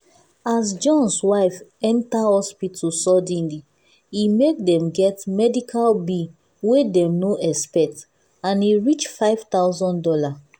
as john's wife enter hospital suddenly e make dem get medical bill wey dem no expect and e reach five thousand dollars.